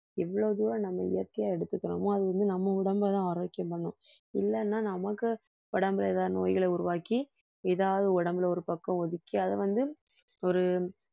எவ்வளவு தூரம் நம்ம இயற்கையா எடுத்துக்கிறோமோ அது வந்து நம்ம உடம்பைதான் ஆரோக்கியம் பண்ணும் இல்லைன்னா நமக்கு உடம்புல ஏதாவது நோய்களை உருவாக்கி ஏதாவது உடம்புல ஒரு பக்கம் ஒதுக்கி அதை வந்து ஒரு